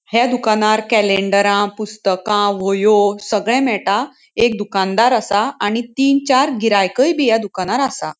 ह्ये दुकानार केलेंडरा पुस्तका व्हयो सगळे मेळटा एक दुकानदार असा आणि तीन चार गिरायकय बी या दुकानार असा.